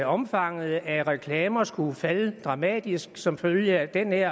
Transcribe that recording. omfanget af reklamer skulle falde dramatisk som følge af den her